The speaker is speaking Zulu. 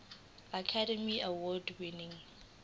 academy award winning